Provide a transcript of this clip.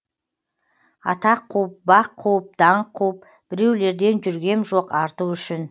атақ қуып бақ қуып даңқ қуып біреулерден жүргем жоқ арту үшін